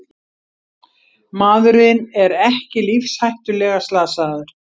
Maðurinn er ekki lífshættulega slasaður